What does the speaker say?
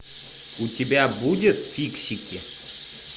у тебя будет фиксики